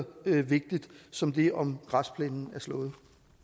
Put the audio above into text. vigtigt som det om græsplænen er slået